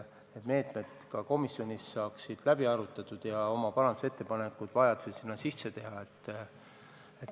Need meetmed saab komisjonis läbi arutatud ja vajadusel teeme oma parandusettepanekud.